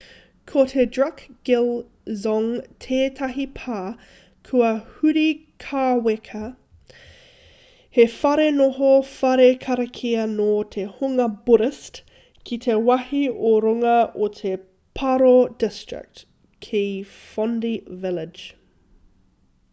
ko te drukgyal dzong tētahi pā kua huri kāweka he whare noho whare karakia nō te hunga buddhist ki te wāhi ō-runga o te paro district ki phondey village